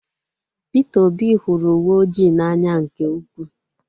Peter Obi hụrụ uwe oji n'anya nke ukwuu